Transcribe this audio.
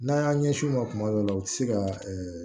N'an y'an ɲɛsin u ma tuma dɔw la u tɛ se ka